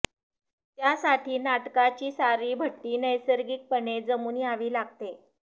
त्यासाठी नाटकाची सारी भट्टी नैसर्गिकपणे जमून यावी लागते